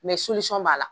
Mɛ b'a la